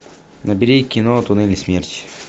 набери кино туннели смерти